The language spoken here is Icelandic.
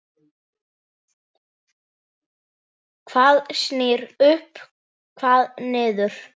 Hvað snýr upp, hvað niður?